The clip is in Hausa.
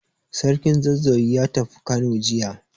Sarkin Zazzau ya tafi Kano jiya.